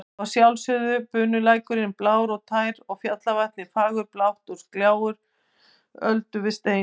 Og að sjálfsögðu bunulækurinn blár og tær, fjallavatnið fagurblátt og gjálfur öldu við stein.